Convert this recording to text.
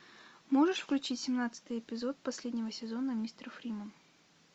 можешь включить семнадцатый эпизод последнего сезона мистер фриман